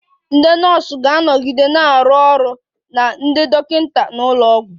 Ndị nọọsụ ga-anọgide na-arụ ọrụ na ndị dọkịta n'ụlọ ọgwụ